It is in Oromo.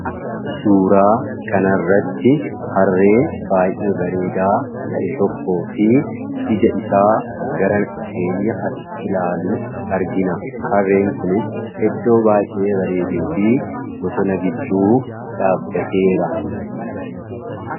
suuraa kanarratti harree baay'ee bareedaa ta'e tokko fi ija isaa gara keenya as ilaalu argina harreen kunis eddoo baay'ee bareeduu fi bosona gidduu dhaabbateera.